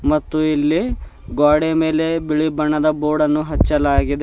ಮತ್ತು ಇಲ್ಲಿ ಗೋಡೆ ಮೇಲೆ ಬಿಳಿ ಬಣ್ಣದ ಬೋರ್ಡನ್ನು ಹಚ್ಚಲಾಗಿದೆ.